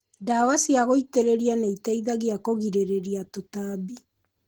Ndawa cia gũitĩrĩria nĩiteithagia kũgirĩrĩria tũtambi.